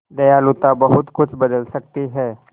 दयालुता बहुत कुछ बदल सकती है